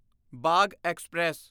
Bagh express